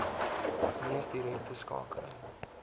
mees direkte skakeling